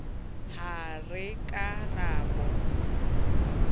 ha re ka ra bo